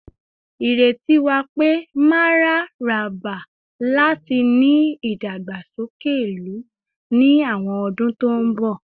Ireti wa pe mararaba lati ni idagbasoke ilu ni awọn ọdun to nbọ